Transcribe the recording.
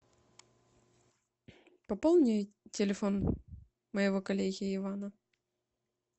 пополни телефон моего коллеги ивана